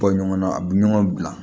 Bɔ ɲɔgɔnna a bi ɲɔgɔn bila